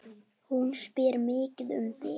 Hún spyr mikið um þig.